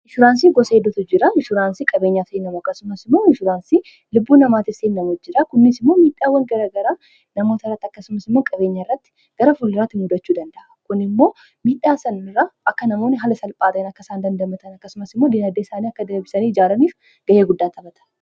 inshuransii gosa hedotu jira inshuraansii qabeenyaafsiin nama akkasumas imoo inshuraansii lubbuu namaa tirsiiin namoot jira kunniis immoo miidhaawwan gara garaa namoota irratti akkasumas immo qabeenyaa irratti gara fulliraatti muudachuu danda'a kun immoo miidhaa sanirraa akka namoonni hala sal phaata'in akka isaan dandamatan akkasumas immoo diinaddee isaanii akka deebisanii ijaalaniif gayya guddaa tabhata